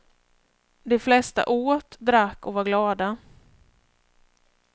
De flesta åt, drack och var glada.